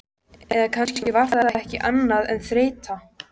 Eða kannski var það ekki annað en þreyta.